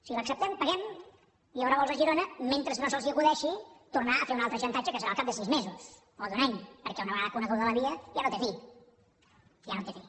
si l’acceptem paguem i hi haurà vols a girona mentre no se’ls acudeixi tornar a fer un altre xantatge que serà al cap de sis mesos o d’un any perquè una vegada coneguda la via ja no té fi ja no té fi